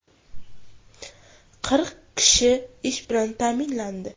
Qirq kishi ish bilan ta’minlandi.